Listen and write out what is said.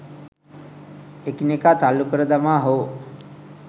එකිනෙකා තල්ලු කර දමා හෝ